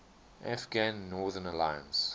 afghan northern alliance